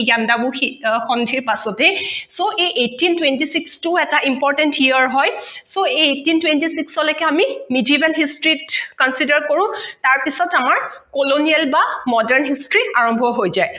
এই ইয়াণ্ডাবু সন্ধিৰ পাছতেই so এই eighteen twenty six টো এটা important year হয় so এই eighteen twenty six অ লৈকে আমি medieval history ত consider কৰো তাৰপিছত আমাৰ colonial বা modern history আৰম্ভ হৈ যায়